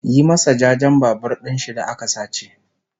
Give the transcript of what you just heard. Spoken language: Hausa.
Yi masa jajen Babur ɗinshi da aka sace!